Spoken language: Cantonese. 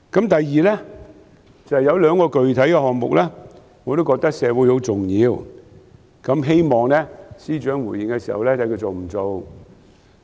第二，有兩個具體項目，我覺得對社會很重要，希望司長回應時說明他會否推行。